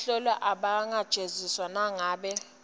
bahlolwa abangajeziswa nangabe